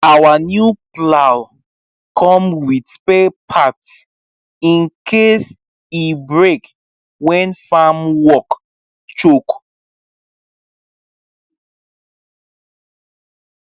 our new plow come with spare parts in case e break when farm work choke